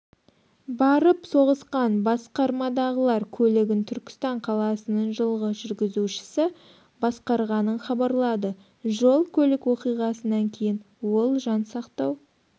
барып соғысқан басқармадағылар көлігін түркістан қаласының жылғы жүргізушісі басқарғанын хабарлады жол-көлік оқиғасынан кейін ол жансақтау